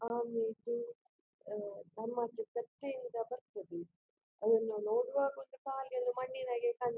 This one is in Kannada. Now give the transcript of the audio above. ಬರ್ತದೆ ಅದನ್ನು ನೋಡುವಾಗ ಒಂದು ಕಾಲಿ ಎಲ್ಲ ಮಣ್ಣಿನಹಾಗೆ ಕಾಣ್ತದ್ದೆ.